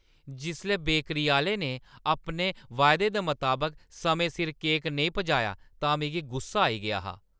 जिसलै बेकरी आह्‌ले ने अपने वायदे दे मताबक समें सिर केक नेईं पजाया तां मिगी गुस्सा आई गेआ हा।